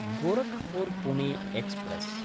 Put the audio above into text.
Gorakhpur Pune express